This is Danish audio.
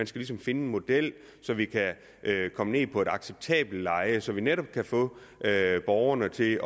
skal finde en model så vi kan komme ned på en acceptabel leje så vi netop kan få borgerne til